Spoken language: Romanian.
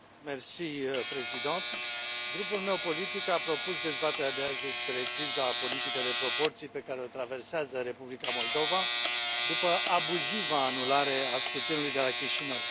Doamnă președintă, grupul meu politic a propus dezbaterea de azi despre criza politică de proporții pe care o traversează Republica Moldova după abuziva anulare a scrutinului de la Chișinău.